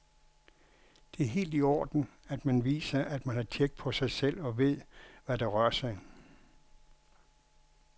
Det er helt i orden, at man viser, at man har tjek på sig selv og ved, hvad der rør sig.